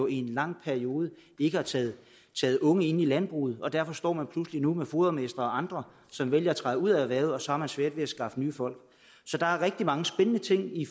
i en lang periode ikke har taget unge ind i landbruget og derfor står man pludselig nu med fodermestre og andre som vælger at træde ud af erhvervet og så har man svært ved at skaffe nye folk så der er rigtig mange spændende ting i